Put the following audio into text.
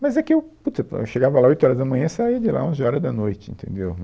Mas é que eu, putz, eu chegava lá oito horas da manhã e saía de lá onze horas da noite, entendeu?